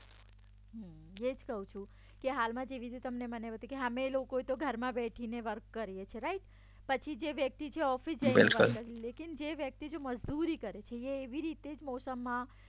એજ કઉ છું અમે લોકો ઘરમાં બેઠીને વર્ક કરીએ છે રાઇટ પછી જે વ્યક્તિ જે ઓફિસ જઈને વર્ક કરે છે લેકિન જે વ્યક્તિ મજદૂરી કરે છે એવી રીતે મોસમમાં